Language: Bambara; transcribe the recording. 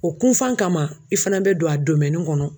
O kunfan kama i fana bɛ don a kɔnɔ.